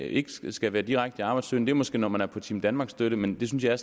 ikke skal skal være direkte arbejdssøgende er måske når man er på team danmark støtte men det synes jeg